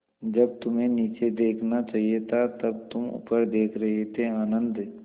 जब तुम्हें नीचे देखना चाहिए था तब तुम ऊपर देख रहे थे आनन्द